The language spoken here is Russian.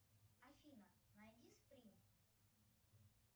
афина найди сприн